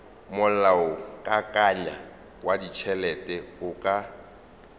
molaokakanywa wa ditšhelete o ka